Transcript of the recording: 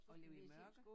Og ligge i mørke